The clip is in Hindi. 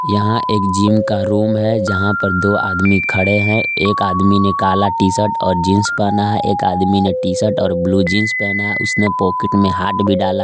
यहां एक जिम का रूम है जहा पर दो आदमी खड़े है एक आदमी ने काला टी शर्ट और जींस पहना है एक आदमी ने टी शर्ट और ब्लू जींस पहना है उसने पॉकेट में हाथ भी डाला--